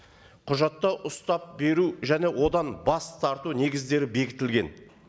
құжатта ұстап беру және одан бас тарту негіздері бекітілген